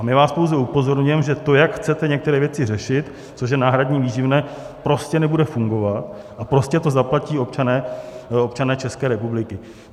A my vás pouze upozorňujeme, že to, jak chcete některé věci řešit, což je náhradní výživné, prostě nebude fungovat a prostě to zaplatí občané České republiky.